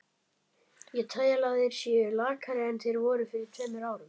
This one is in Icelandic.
Ég tel að þeir séu lakari en þeir voru fyrir tveimur árum.